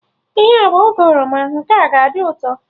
Ihe a bụ oge oroma, nke a ga-adị ụtọ